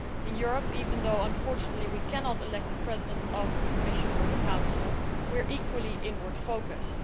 In Europe, even though unfortunately we cannot elect the President of the Commission or the Council, we are equally inward focused.